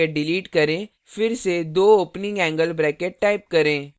closing bracket delete करें फिर से दो opening angle brackets type करें